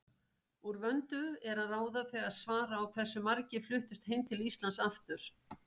Úr vöndu er að ráða þegar svara á hversu margir fluttust heim til Íslands aftur.